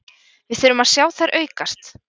Við þurfum að sjá þær aukast